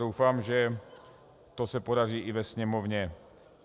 Doufám, že se to podaří i ve Sněmovně.